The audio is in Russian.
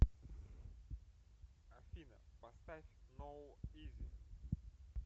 афина поставь ноу изи